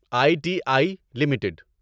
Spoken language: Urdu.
I T I limited